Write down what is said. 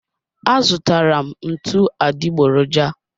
A zụtara m ntụ adịgboroja